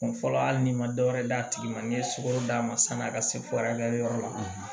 Fɔlɔ hali n'i ma dɔ wɛrɛ d'a tigi ma n'i ye sugoro d'a ma sani a ka se yɔrɔ la